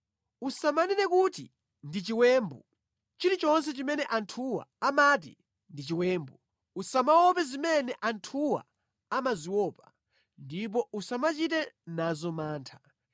“Usamanene kuti ndi chiwembu, chilichonse chimene anthuwa amati ndi chiwembu usamaope zimene anthuwa amaziopa, ndipo usamachite nazo mantha.